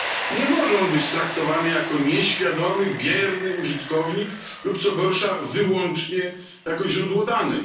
Nie może on być traktowany jako nieświadomy, bierny użytkownik lub co gorsza wyłącznie jako źródło danych.